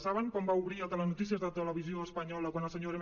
saben com va obrir el telenotícies de televisió espanyola quan el senyor m